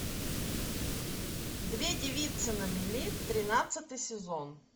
две девицы на мели тринадцатый сезон